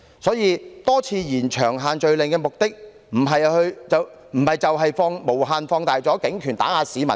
因此，多次延長限聚令的目的，不就是為了無限放大警權以打壓市民嗎？